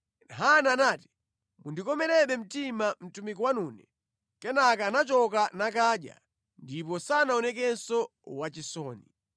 Hana anati, “Mundikomerebe mtima mtumiki wanune.” Kenaka anachoka nakadya, ndipo sanaonekenso wachisoni.